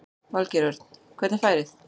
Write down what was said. Valgeir Örn: Hvernig er færið?